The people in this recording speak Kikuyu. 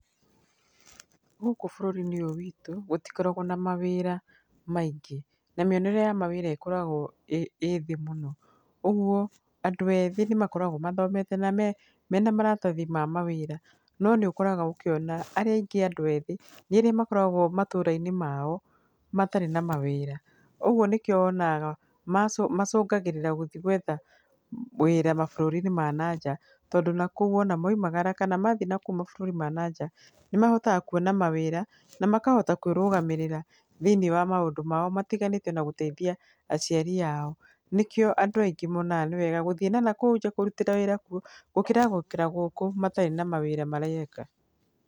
Gũkũ bũrũri-inĩ ũyũ witũ gũtikoragwo na mawĩra maingĩ na mĩonere ya mawĩra ĩkoragwo ĩthĩ mũno, ũguo andũ ethĩ nĩ makoragwo mathomete na mena maratathi ma mawĩra, no nĩũkoragwo ũkĩona arĩa aingĩ andũ ethĩ nĩ arĩa makoragwo matũra-inĩ mao matarĩ na mawĩra, ũguo nĩkĩo wonaga macũngagĩrĩra gũthi gwetha mawĩra mabũrũri-inĩ ma na nja, tondũ nakũu maumagara kana mathi nakũu mabũrũri ma nanja nĩ mahotaga kuona mawĩra na makahota kwĩrũgamĩrĩra thĩiniĩ wa maũndũ mao matiganĩte ona gũteithia aciari ao. Nĩkĩo andũ aingĩ monaga gũthiĩ na nakũu nja kũrutĩra wĩra kuo gũkĩra gũikara gũkũ matarĩ na mawĩra mareka.